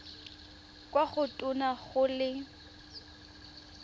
kwa go tona go le